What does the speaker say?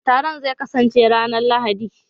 Taron zai kasance ranar Lahadi